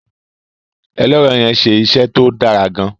ẹlẹrọ yén ṣe iṣé tó Dára gaan.